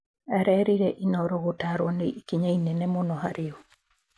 Arerire Inooro gutarwo nĩ ikinya rĩnene mũno harĩ o.